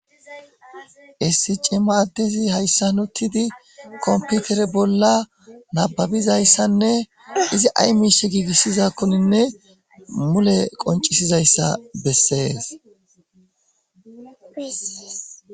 Essici ma addezi hayssa nottidi komputere bolla nababizayssanne izi ay miishe giigissizakkoninne mule qoncisizayssa bessees.